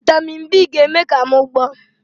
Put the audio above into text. Vị́tamị́n n B ga-eme ka m gboọ́